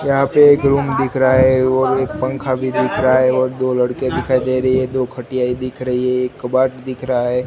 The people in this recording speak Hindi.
यहां पे एक रूम दिख रहा है और एक पंखा भी दिख रहा है और दो लड़के दिखाई दे रही है दो खटिया ही दिख रही है एक कबर्ड दिख रहा है।